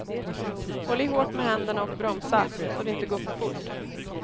Håll i hårt med händerna och bromsa, så det inte går för fort.